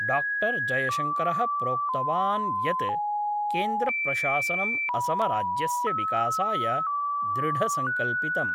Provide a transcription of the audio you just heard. Doctor जयशंकरः प्रोक्तवान् यत् केन्द्रप्रशासनम् असमराज्यस्य विकासाय दृढसंकल्पितम्।